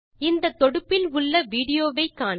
இந்த தொடுப்பில் உள்ள விடியோவை காண்க